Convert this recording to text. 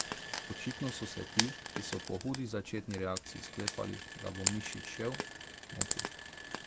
Očitno so se ti, ki so po hudi začetni reakciji sklepali, da bo Mišič šel, motili.